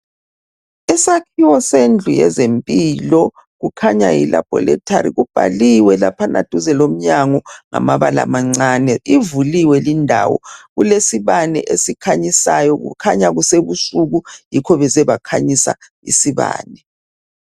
Isakhiwo sendlu yezempilo kukhanya yilaboratory kubhaliwe laphana duze lomnyango ngamabala amancane. Ivuliwe lendawo kulesibane esikhanyisayo, kukhanya kusebusuku yikho beze bakhanyisa ngesibane.